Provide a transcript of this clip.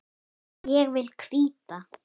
Ég vil hvíta.